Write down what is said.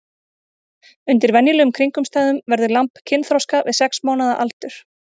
Undir venjulegum kringumstæðum verður lamb kynþroska við sex mánaða aldur.